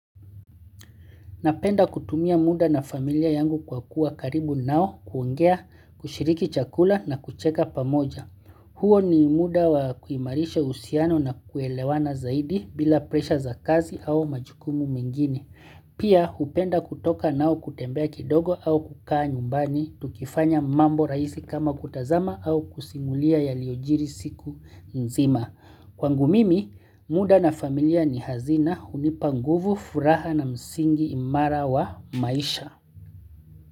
Napenda kutumia muda na familia yangu kwa kuwa karibu nao, kuongea, kushiriki chakula na kucheka pamoja. Huo ni muda wa kuimarisha uhusiano na kuelewana zaidi bila presha za kazi au majukumu mengine. Pia hupenda kutoka nao kutembea kidogo au kukaa nyumbani, tukifanya mambo rahisi kama kutazama au kusimulia yaliyojiri siku nzima. Kwangu mimi, muda na familia ni hazina hunipa nguvu furaha na msingi imara wa maisha.